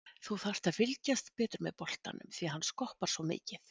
Þú þarft að fylgjast betur með boltanum því hann skoppar svo mikið.